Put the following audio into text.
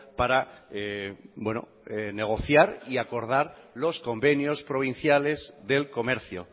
para negociar y acordar los convenios provinciales del comercio